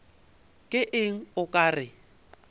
ke eng o ka re